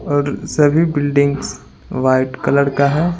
और सभी buildings white colour का है।